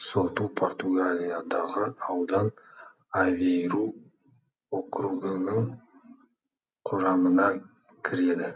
соту португалиядағы аудан авейру округінің құрамына кіреді